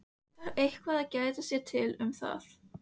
Þarf eitthvað að geta sér til um það?